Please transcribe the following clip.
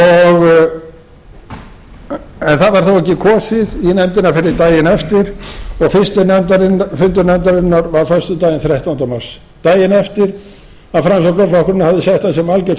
en það var þó ekki kosið í nefndin fyrr en daginn eftir og fyrri fundur nefndarinnar var föstudaginn þrettánda mars daginn eftir að framsóknarflokkurinn hafði sett það sem algjört skilyrði